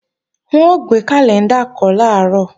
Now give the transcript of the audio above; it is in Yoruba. N ó gbé kàlẹ́ńdà kọ́ làárọ̀